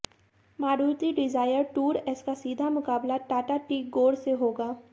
Maruti Dzire Tour S का सीधा मुकाबला टाटा टिगोर से होगा